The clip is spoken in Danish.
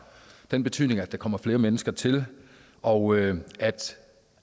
den betydning at der kommer flere mennesker til og at